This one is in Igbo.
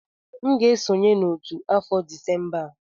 M ga-esonye n'otu afọ Disemba a.